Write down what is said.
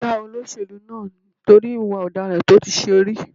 Wọ́n já olóṣèlú náà nítorí ìwà ọ̀daràn tó ti ṣe rí.